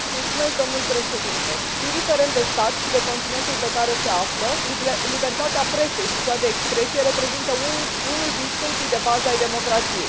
Domnule Președinte, indiferent de stat și de continentul pe care se află, libertatea presei și cea de expresie reprezintă unul din stâlpii de bază ai democrației.